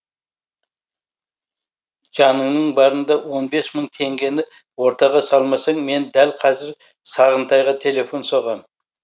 жаныңның барында он бес мың теңгені ортаға салмасаң мен дәл қазір сағынтайға телефон соғам